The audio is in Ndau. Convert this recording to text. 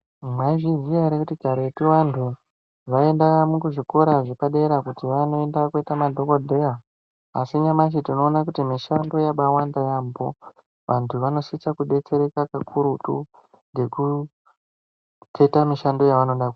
Mwaizviziya ere kuti karetu vanthu vaienda kuzvikora zvepadera kuti vanoenda kooita madhokodheya. Asi nyamashi tinoona kuti mushando yabaawanda yaampho. Vanthu vanosise kudetsereka kakurutu, ngekukheta mishando yevanoda kuita.